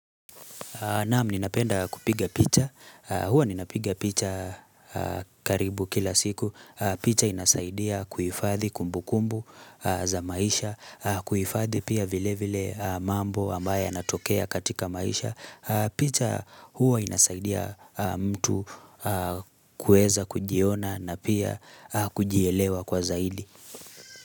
Naam ninapenda kupiga picha, huwa ninapiga picha karibu kila siku, picha inasaidia kuhifadhi kumbukumbu za maisha, kuhifadhi pia vile vile mambo ambayo yanatokea katika maisha, picha huwa inasaidia mtu kuweza kujiona na pia kujielewa kwa zaidi.